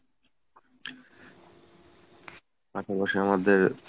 আশেপাশে আমাদের